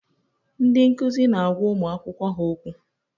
Ndị nkuzi na-agwa ụmụ akwụkwọ ha okwu.